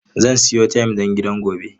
Zan siyo tayim don gidan gobe.